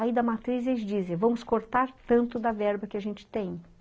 Aí, da matriz, eles dizem, ''vamos cortar tanto da verba que a gente tem.''